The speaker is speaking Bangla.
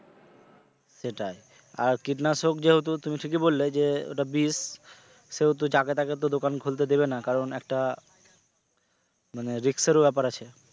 সেটাই আর কীটনাশক যেহেতু তুমি ঠিকই বললে যে ওটা বিষ সেহেতু যাকে তাকে তো দোকান খুলতে দিবে না, কারণ একটা মানে risk এর ও ব্যপার আছে,